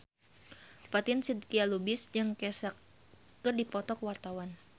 Fatin Shidqia Lubis jeung Kesha keur dipoto ku wartawan